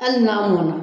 Hali n'a mɔna